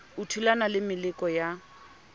o thulana le meleko ya